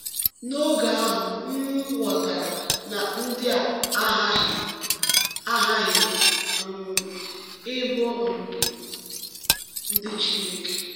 N’oge ahụ, um m ghọtara na ndị a aghaghị a aghaghị um ịbụ um ndị Chineke.”